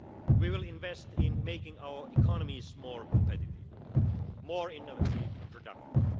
area. We will invest in making our economies more competitive, more innovative and productive.